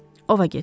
Ova get.